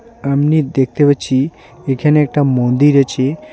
আমনে দেখতে পাচ্ছি এখানে একটা মন্দির আছে।